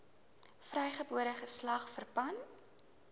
vrygebore geslag verpand